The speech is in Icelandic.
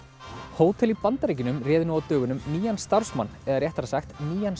hótel í Bandaríkjunum réð nú á dögunum nýjan starfsmann eða réttara sagt nýjan